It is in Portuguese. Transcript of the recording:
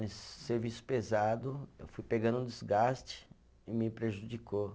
Nesse serviço pesado, eu fui pegando um desgaste e me prejudicou.